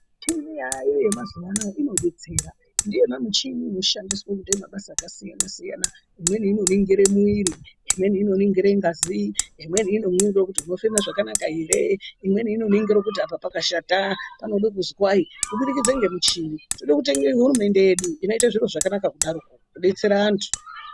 Michini yaveko mazuvaanaya inodetsera, ndiyo michini inoshandiswa kuita mabasa aksiyana siyana, imweni inoringire muiiri, imweni inoringire ngazi, imweni inoringire kuti unofema zvakanaka here , imweni inoringire kuti apa pakashata panoda kuzwai, tinode kutenda hurumende yedu inoite zviro zvakanaka kudai inodetsera vantu.